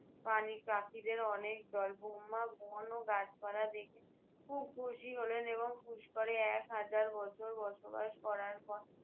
প্রাণী পাখিদের অনেক দল। ব্রহ্মা বন ও গাছপালা দেখে খুব খুশি হলেন এবং পুস্করে এক হাজার বছর বসবাস করার পর